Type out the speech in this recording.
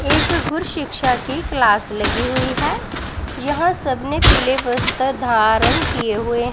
एक गुर शिक्षा की क्लास लगी हुई है यह सब ने पीले वस्त्र धारण किए हुए--